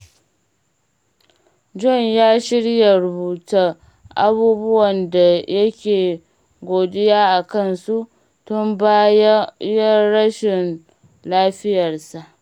John ya shirya rubuta abubuwan da yake godiya a kansu tun bayan rashin lafiyarsa.